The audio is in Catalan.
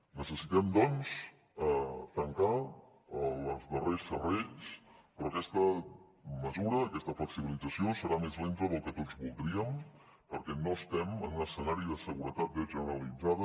necessitem tancar els darrers serrells però aquesta mesura aquesta flexibilització serà més lenta del que tots voldríem perquè no estem en un escenari de seguretat generalitzada